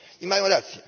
I mają rację.